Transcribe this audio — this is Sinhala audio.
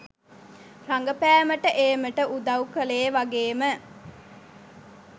රඟපෑමට ඒමට උදව් කළේ වගේම